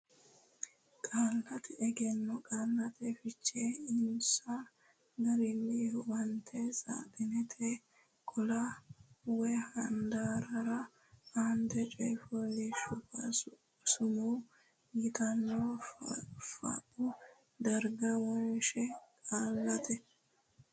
Qaallate Egenno Qaallate Fiche Eonsa Garinni Huwata saaxinete qaalla woy handaarra aante coy fooliishshuwa sumuu yitanno fooqu dargira wonshe Qaallate.